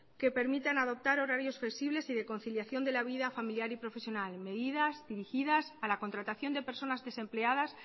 que permitan adoptar horarios flexibles y de conciliación de la vida familiar y profesional medidas dirigidas a la contratación de personas desempleadas